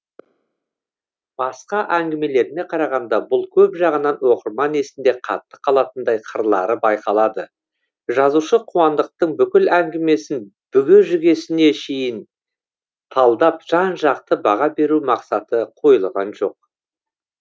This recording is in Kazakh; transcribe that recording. басқа әңгімелеріне қарағанда бұл көп жағынан оқырман есінде қатты қалатындай қырлары байқалады жазушы қуандықтың бүкіл әңгімесін бүге шігесіне дейін талдап жан жақты баға беру мақсаты қойылған жоқ